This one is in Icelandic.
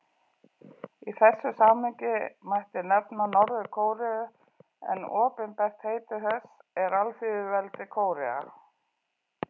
Í þessu samhengi mætti nefna Norður-Kóreu en opinbert heiti þess er Alþýðulýðveldið Kórea.